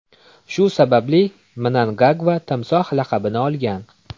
Shu sababli Mnangagva Timsoh laqabini olgan.